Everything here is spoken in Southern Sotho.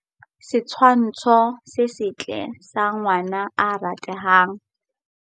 Setshwntsho se setle sa ngwana ya ratehang.